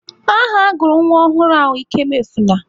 Aha agụrụ nwa ọhụrụ ahụ Ikemuefuna.